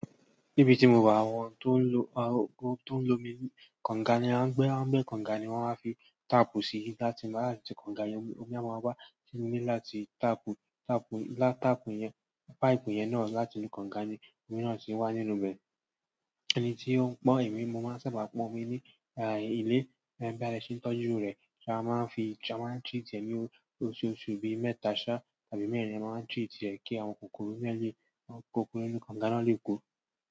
Níbi tí mo wà, àwọn tó ń lo, àwọn tó ń lo omi kànga ni wọ́n á gbé, wọ́n á gbé kànga ni wọ́n á fi táàpù si láti máa láti kànga yẹn, omi a máa wá sí mí láti táàpù, táàpù, látaàpù yẹn, páìpù yẹn náà láti inú kànga ni omi náà ti wá nínú rẹ̀. Ẹni tí ó ń pọ̀n èmi, mo máa ń ṣẹ̀ṣẹ̀ bá pọ̀n omi ní, e, ilé, lẹ́gbẹ̀ẹ́ alẹ́ ṣí ń tọ́jú rẹ̀. Ṣé a máa ń fi, ṣe a máa ń treat ẹ̀ mí òtútù, bí i mẹ́ta, ṣáà, tàbí mẹ́rin a máa ń treat ẹ̀ kí àwọn kòkòrò yẹn lé, kòkòrò inú kànga náà lè kó.